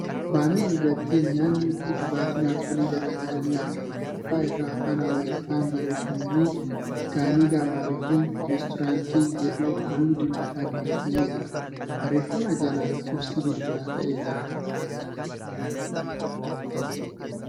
Baanarii irrattii myaanni fi dhugaatiin alkoolii garagaraa ni argama. Gubbaa irraa Afaan Amaariffaan barreeffamni ' Gannigaa baarii fi reestooraantii ' jedhu halluu diimadhaan barreeffamee jira. Barreeffama jala lakkoofsi bilbilaa taa'ee jira.